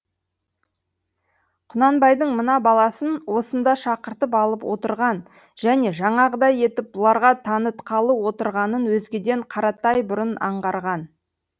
құнанбайдың мына баласын осында шақыртып алып отырған және жаңағыдай етіп бұларға танытқалы отырғанын өзгеден қаратай бұрын аңғарған